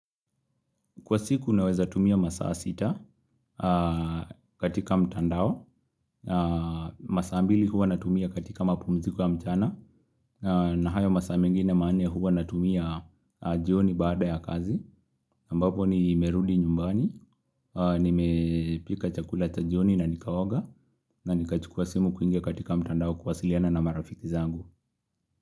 Kwa siku naweza tumia masaa sita katika mtandao, masaa mbili huwa natumia katika mapumziko ya mchana, na hayo masaa mingine manne huwa natumia jioni baada ya kazi, ambapo ni nimerudi nyumbani, nimepika chakula cha jioni na nikaoga, na nikachukua simu kuingia katika mtandao kuwasiliana na marafiki zangu.